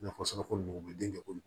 Nafa sɔrɔ ko nugu den